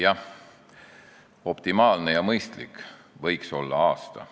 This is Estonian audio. Jah, optimaalne ja mõistlik võiks olla aasta.